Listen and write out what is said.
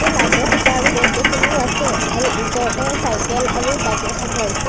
এই লাইট ৰ খুটা আৰু গছ গছনিও আছে আৰু ওচৰতে চাইকেল আৰু বাইক ৰখাই থোৱা হৈছে।